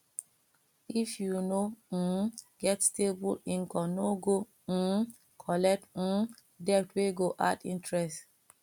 if you no um get stable income no go um collect um debt wey go add interest